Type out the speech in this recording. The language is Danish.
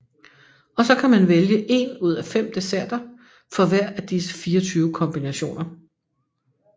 Og så kan man vælge en ud af 5 desserter for hver af disse 24 kombinationer